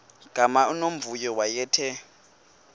gama unomvuyo wayethe